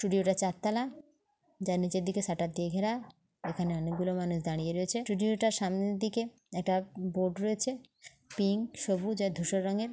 studio -টা চারতালা যার নিচের দিকে সাটার দিয়ে ঘেরা এখানে অনেকগুলো মানুষ দাঁড়িয়ে রয়েছে ষ্টুডিও -টার সামনের দিকে একটি বোর্ড রয়েছে পিঙ্ক সবুজ ও ধূসর রঙের|